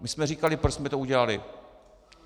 My jsme říkali, proč jsme to udělali.